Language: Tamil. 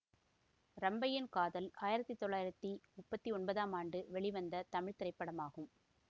ரம்பையின் காதல் ஆயிரத்தி தொள்ளாயிரத்தி முப்பத்தி ஒன்பதாம் ஆண்டு வெளிவந்த தமிழ் திரைப்படமாகும்